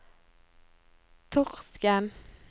Torsken